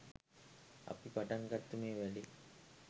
අපි පටන් ගත්තු මේ වැඩේ